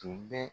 Tun bɛ